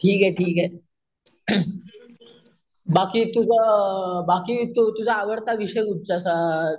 ठीक ठीक ए, अम बाकी तुज अम बाकी तो तुझा आवडता विषय कुठचा असा,